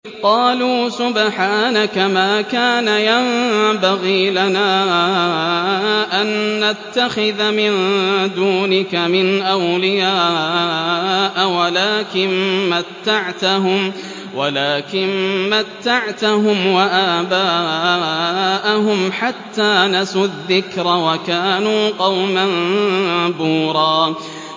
قَالُوا سُبْحَانَكَ مَا كَانَ يَنبَغِي لَنَا أَن نَّتَّخِذَ مِن دُونِكَ مِنْ أَوْلِيَاءَ وَلَٰكِن مَّتَّعْتَهُمْ وَآبَاءَهُمْ حَتَّىٰ نَسُوا الذِّكْرَ وَكَانُوا قَوْمًا بُورًا